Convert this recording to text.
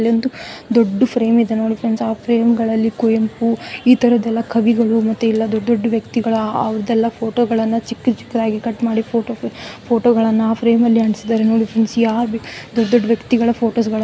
ಅಲ್ಲಿ ಒಂದು ದೊಡ್ಡ ಫ್ರೆಮ ಇದೆ ನೋಡಿ ಫ್ರೆಂಡ್ಸ್ ಆ ಫ್ರೆಮ್ ಗಳಲ್ಲಿ ಕುವೆಂಪು ಇತರಹದ್ದೆಲ್ಲ ಕವಿಗಳು ಮತ್ತೆ ಇಲ್ಲ ದೊಡ್ಡ ದೊಡ್ಡ ವ್ಯಕ್ತಿಗಳು ಆ ಅವರದ್ದೆಲ್ಲ ಫೋಟೋ ಗಳೆಲ್ಲ ಚಿಕ್ಕ ಚಿಕ್ಕದಾಗಿ ಕಟ್ಮಾಡಿ ಫೋಟೋ ಗಳನ್ನ ಆ ಫ್ರೆಮ್ ಅಲ್ಲಿ ಅಂಟಿಸಿದ್ದಾರೆ ನೋಡಿ ಫ್ರೆಂಡ್ಸ್ ಯಾವ ದೊಡ್ಡ ದೊಡ್ಡ ವ್ಯಕ್ತಿಗಳ ಫೋಟೋಸ್ .